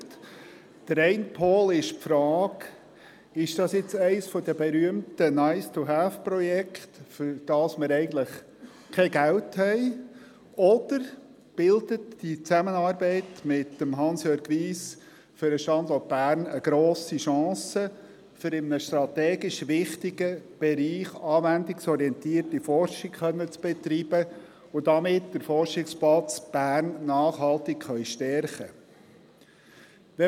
Der eine Pol ist die Frage, ob es eines der berühmten Nice-to-have-Projekte sei, wofür wir eigentlich kein Geld haben, oder ob die Zusammenarbeit mit Hansjörg Wyss für den Standort Bern eine grosse Chance bildet, um in einem strategisch wichtigen Bereich anwendungsorientierte Forschung zu betreiben und damit den Forschungsplatz Bern nachhaltig stärken zu können.